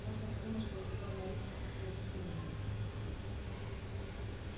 можно подумать что эти горные речки такие уж стерильные фыркнул хорёк